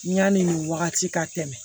N yanni nin wagati ka tɛmɛ